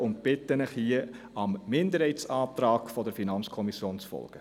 Ich bitte Sie, dem Minderheitsantrag der FiKo zu folgen.